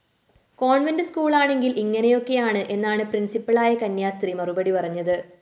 convent സ്‌കൂളാണെങ്കില്‍ ഇങ്ങനെയാക്കെയാണ് എന്നാണ് പ്രിന്‍സിപ്പളായ കന്യാസ്ത്രീ മറുപടി പറഞ്ഞത്